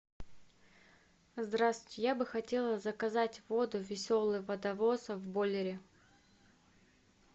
здравствуйте я бы хотела заказать воду веселый водовоз в бойлере